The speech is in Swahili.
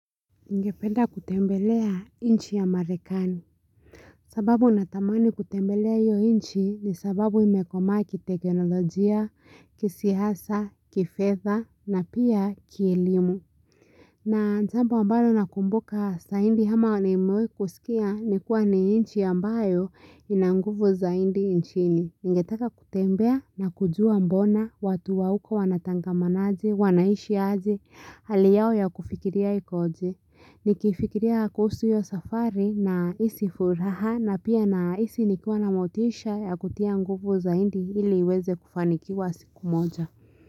Ningependa kutembelea inchi ya marekani. Sababu natamani kutembelea hiyo inchi ni sababu imekomaa kiteknolojia, kisiasa, kifedha, na pia kielimu. Na jambo ambalo nakumbuka zaidi ama nimewai kuskia ni kuwa ni inchi ambayo ina nguvu zaidi inchini. Ningetaka kutembea na kujua mbona watu wa huko wanatangamanaje, wanaishi aje, hali yao ya kufikiria ikoje? Nikifikiria kuhusu hio safari na hisi furaha na pia nahisi nikiwa na motisha ya kutia nguvu zaidi iliiweze kufanikiwa siku moja.